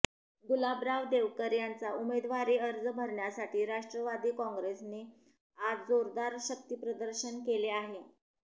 गुलाबराव देवकर यांचा उमेदवारी अर्ज भरण्यासाठी राष्ट्रवादी काँग्रेसने आज जोरदार शक्तीप्रदर्शन केले आहे